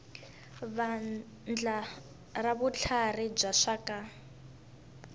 vandla ra vutlharhi bya swa